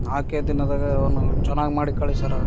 ನಾಕೇ ದಿನದಾಗ ಅವನ ಚೆನ್ನಾಗ್ ಮಾಡಿ ಕಳ್ಸ್ಯಾರ.